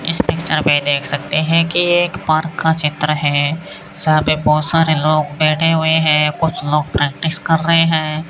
इस पिक्चर में देख सकते है कि ये एक पार्क का चित्र है सामने बहोत सारे लोग बैठे हुए हैं कुछ लोग प्रैक्टिस कर रहे हैं।